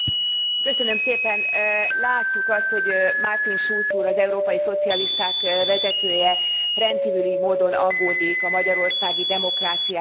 Látjuk azt, hogy Martin Schulz úr, az európai szocialisták vezetője rendkívüli módon aggódik a magyarországi demokráciáért és az emberi jogokért.